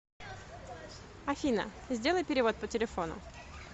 афина сделай перевод по телефону